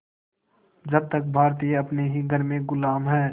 जब तक भारतीय अपने ही घर में ग़ुलाम हैं